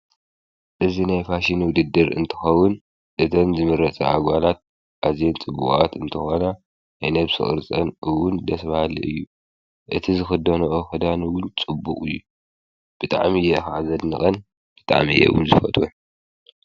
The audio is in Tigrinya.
እዚ ናይ ፅባቐ ውድድር ኮይኑ ኣዝየን ፅቡቃትን ምዕሩጋትን ኣዋልድ ይወዳደራ።